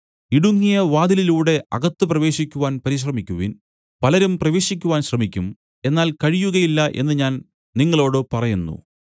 ഇടുങ്ങിയ വാതിലിലൂടെ അകത്ത് പ്രവേശിക്കുവാൻ പരിശ്രമിക്കുവിൻ പലരും പ്രവേശിക്കുവാൻ ശ്രമിക്കും എന്നാൽ കഴിയുകയില്ല എന്നു ഞാൻ നിങ്ങളോടു പറയുന്നു